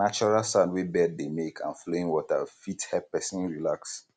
natural sound wey bird dey make and flowing water um fit um help person relax